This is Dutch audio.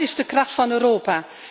Maar dat is de kracht van Europa.